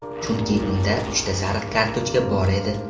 Chunki unda uchta sariq kartochka bor edi.